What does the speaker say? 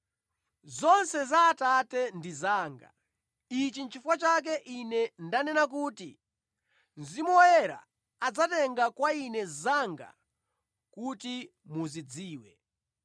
Zonse za Atate ndi zanga. Ichi nʼchifukwa chake Ine ndanena kuti Mzimu Woyera adzatenga kwa Ine zanga kuti muzidziwe.”